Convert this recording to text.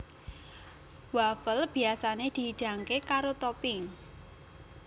Wafel biyasané dihidangké karo topping